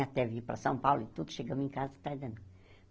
Até vir para São Paulo e tudo, chegamos em casa tarde da noite.